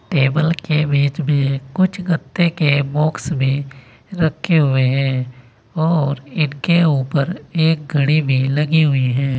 Table के बीच में कुछ गत्ते के बॉक्स भी रखे हुए हैं और इनके ऊपर एक घड़ी भी लगी हुई है।